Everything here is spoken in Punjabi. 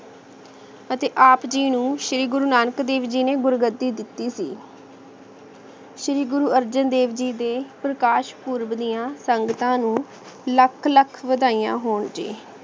ਅਤੇ ਆਪ ਜੀ ਨੂ ਸ਼੍ਰੀ ਗੁਰੂ ਨਾਨਕ ਦੇਵ ਜੀ ਨੇ ਗੁਰੂ ਗਦੀ ਦਿਤੀ ਸੀ ਸ਼੍ਰੀ ਗੁਰੂ ਅਰਜਨ ਦੇਵ ਜੀ ਦੇ ਪ੍ਰਕਾਸ਼ ਪੂਰਵ ਦੀਆਂ ਸੰਗਤਾਂ ਨੂੰ ਲੱਖ ਲੱਖ ਬਦਾਇਆ ਹੋਣ ਜੀ